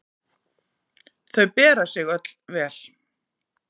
Þau bera sig öll vel.